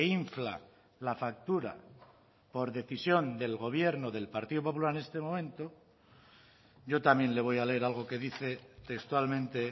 infla la factura por decisión del gobierno del partido popular en este momento yo también le voy a leer algo que dice textualmente